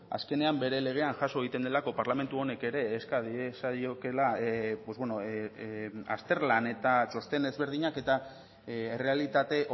azkenean bere legean jaso egiten delako parlamentu honek ere eska diezaiokeela azterlan eta txosten ezberdinak eta errealitate